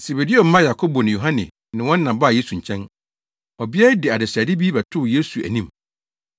Sebedeo mma Yakobo ne Yohane ne wɔn na baa Yesu nkyɛn. Ɔbea yi de adesrɛde bi bɛtoo Yesu anim.